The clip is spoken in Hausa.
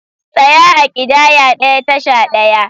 Tsaya a ƙidaya ɗaya, tasha ɗaya!